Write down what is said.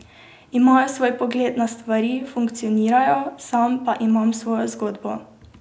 Imajo svoj pogled na stvari, funkcionirajo, sam pa imam svojo zgodbo.